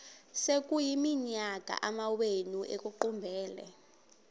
sekuyiminyaka amawenu ekuqumbele